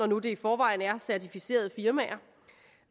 nu i forvejen er certificerede firmaer